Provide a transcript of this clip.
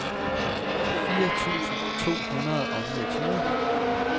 fire tusind to hundrede og niogtyve